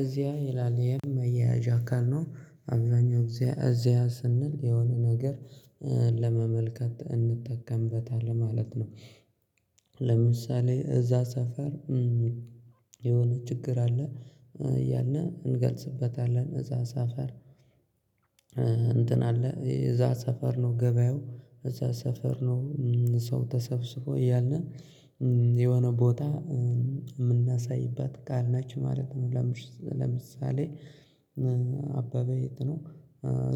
እዚያ ይላል የመያዣ አካል ነው አብዛኛው እዚያ እዚያ ስንል የሆነ ነገር ለመመልከት እንጠቀምበታለን ማለት ነው። ለምሳሌ እዛ ሰፈር የሆነ ችግር አለ እያልን እንገልጽበታለን እዛ ሳፈር። አለ እዛ ሰፈር ነው ገበያው እዛ ሰፈር ነው ሰው ተሰፍስፎ እያለ እያለ የሆነ ቦታ የምናሳይበት ቃል ነችማለት ነው። ለምሳሌ አበበ የት ነው